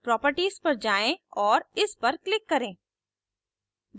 properties पर जाएँ और इस पर click करें